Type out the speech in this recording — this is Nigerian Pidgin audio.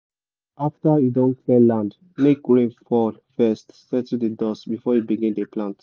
after you don clear land make rain fall first settle the dust before you begin dey plant